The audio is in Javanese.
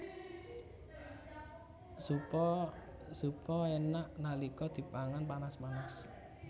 Zupa enak nalika dipangan panas panas